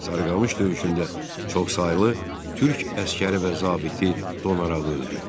Sarıqamış döyüşündə çoxsaylı türk əsgəri və zabiti donaraq öldü.